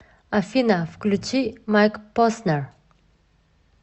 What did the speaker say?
афина включи майк поснер